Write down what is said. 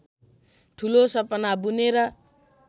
ठूलो सपना बुनेर